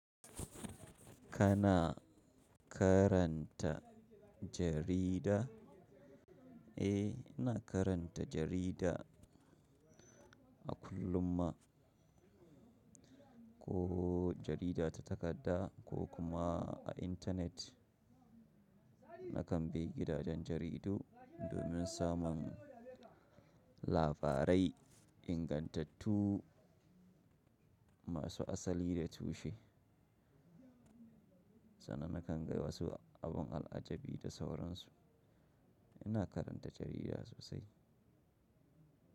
Kana karanta jarida? Eh, ina karanta jarida a kullum ma. Ko jarida ta takadda ko kuma a internet. Nakan bi gidajen jaridu domin samun labarai, ingantattu masu asali da tushe. Sannan nakan ga wasu abun al'ajabi da sauransu. Ina karanta jarida sosai.